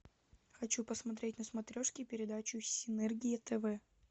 хочу посмотреть на смотрешке передачу синергия тв